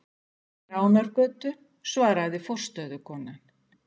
Við Ránargötu, svaraði forstöðukonan.